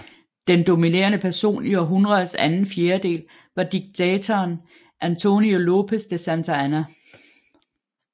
Den dominerede person i århundrets anden fjerdedel var diktatoren Antonio López de Santa Anna